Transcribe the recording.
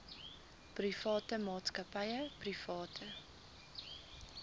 private maatskappye private